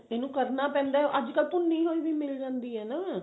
ਇਹਨੂੰ ਕਰਨਾ ਪੈਂਦਾ ਅੱਜਕਲ ਭੁੰਨੀ ਹੋਈ ਵੀ ਮਿਲ ਜਾਂਦੀ ਹੈ